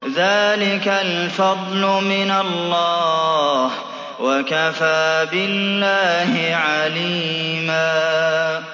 ذَٰلِكَ الْفَضْلُ مِنَ اللَّهِ ۚ وَكَفَىٰ بِاللَّهِ عَلِيمًا